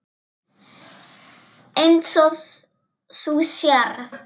Eins og þú sérð.